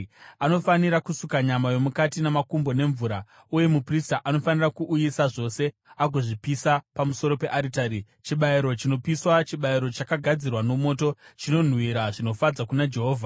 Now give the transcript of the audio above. Anofanira kusuka nyama yomukati namakumbo nemvura, uye muprista anofanira kuuyisa zvose agozvipisa pamusoro pearitari. Chibayiro chinopiswa, chibayiro chakagadzirwa nomoto, chinonhuhwira zvinofadza kuna Jehovha.